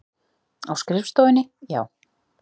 Á skrifstofunni, já.